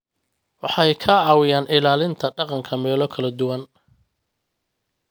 Waxay ka caawiyaan ilaalinta dhaqanka meelo kala duwan.